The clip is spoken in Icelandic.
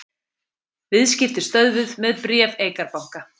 Viðskipti stöðvuð með bréf Eikar banka